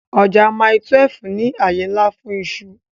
Ọjà Mile 12 ní àyè ńlá fún iṣu